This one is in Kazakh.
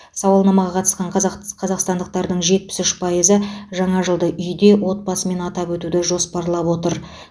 саулнамаға қатысқан қазақ қазақстандықтардың жетпіс үш пайызы жаңа жылды үйде отбасымен атап өтуді жоспарлап отыр